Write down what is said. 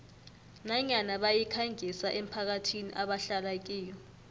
nanyana bayikhangisa emphakathini ebahlala kiyo